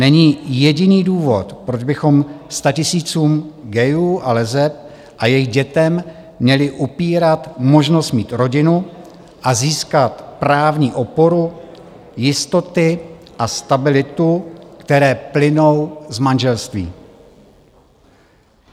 Není jediný důvod, proč bychom statisícům gayů a leseb a jejich dětem měli upírat možnost mít rodinu a získat právní oporu jistoty a stabilitu, které plynou z manželství.